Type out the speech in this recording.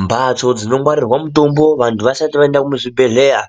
Mbatso dzinongwarirwa mutombo vantu vasati vaenda kuzvibhedhlera